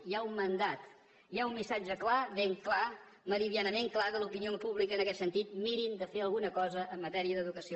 hi ha un mandat hi ha un missatge clar ben clar meridianament clar de l’opinió pública en aquest sentit mirin de fer alguna cosa en matèria d’educació